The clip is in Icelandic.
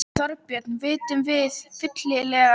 Þorbjörn, vitum við fyllilega hver áhrifin af álitinu eru?